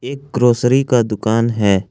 एक ग्रॉसरी का दुकान है।